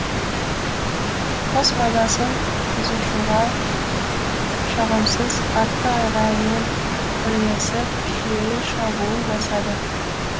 құс мазасын бұзушыға жағымсыз қатты айғаймен бірлесіп шүйіле шабуыл жасайды